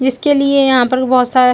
जिसके लिए यहाँ पर बोहोत सारा--